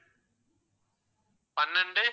பன்னிரண்டு